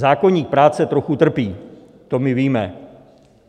Zákoník práce trochu trpí, to my víme.